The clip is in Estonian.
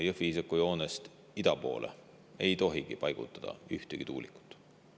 Jõhvi-Iisaku joonest ida poole ei tohi paigutada ühtegi tuulikut.